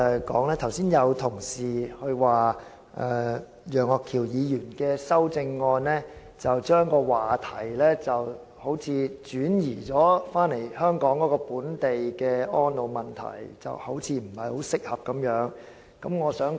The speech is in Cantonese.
剛才有同事指稱，楊岳橋議員的修正案將話題轉移至本港的安老問題，似乎不太適當。